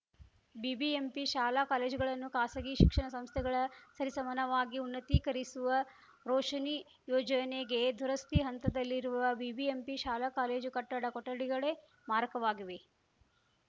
BBMP ಶಾಲಾ ಕಾಲೇಜುಗಳನ್ನು ಖಾಸಗಿ ಶಿಕ್ಷಣ ಸಂಸ್ಥೆಗಳ ಸರಿಸಮಾನವಾಗಿ ಉನ್ನತೀಕರಿಸುವ ರೋಶನಿ ಯೋಜನೆಗೆ ದುರಸ್ತಿ ಹಂತದಲ್ಲಿರುವ ಬಿಬಿಎಂಪಿ ಶಾಲಾ ಕಾಲೇಜು ಕಟ್ಟಡ ಕೊಠಡಿಗಳೇ ಮಾರಕವಾಗಿವೆ